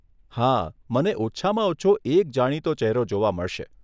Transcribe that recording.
હા, મને ઓછામાં ઓછો એક જાણીતો ચેહરો જોવા મળશે.